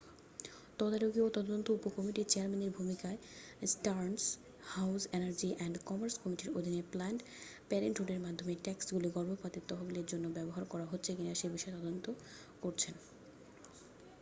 তদারকি ও তদন্ত উপকমিটির চেয়ারম্যানের ভূমিকায় Stearns House Energy and Commerce কমিটির অধীনে ও প্ল্যানড প্যারেন্টহুডের মাধ্যমে ট্যাক্সগুলি গর্ভপাতের তহবিলের জন্য ব্যবহার করা হচ্ছে কিনা সে বিষয়ে তদন্ত করছেন